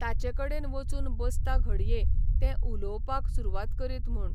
ताचे कडेन वचून बसता घडये तें उलोवपाक सुरवात करीत म्हूण.